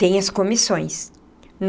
Tem as comissões.